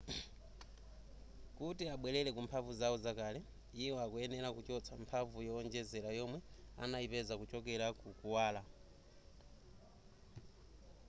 kuti abwerere ku mphamvu zawo zakale iwo akuyenera kuchotsa mphamvu yowonjezera yomwe anayipeza kuchokera ku kuwala